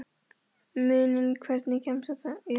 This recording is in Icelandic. Muninn, hvernig kemst ég þangað?